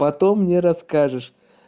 потом мне расскажешь